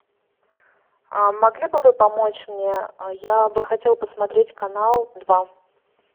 могли бы вы помочь мне я бы хотела посмотреть канал два